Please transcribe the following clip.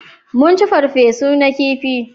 Mun ci farfe su na kifi